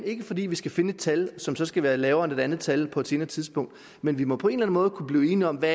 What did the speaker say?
ikke fordi vi skal finde et tal som så skal være lavere end et andet tal på et senere tidspunkt men vi må på en eller anden måde kunne blive enige om hvad